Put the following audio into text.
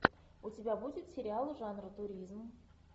у тебя будет сериал жанра туризм